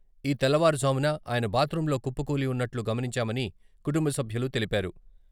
ఈ తెల్లవారుజామున ఆయన బాత్రూంలో కుప్పకూలి ఉన్నట్లు గమనించామని కుటుంబ సభ్యులు తెలిపారు.